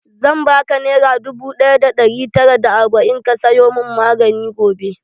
Zan baka nera dubu ɗaya da ɗari tara da arba'in ka sayo mun magani gobe.